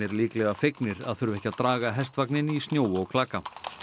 líklega fegnir að þurfa ekki að draga í snjó og klaka